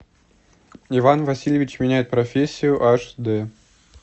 иван васильевич меняет профессию аш д